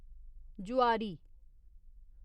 जुआरी